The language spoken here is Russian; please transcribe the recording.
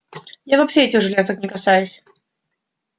я вообще этих железок не касаюсь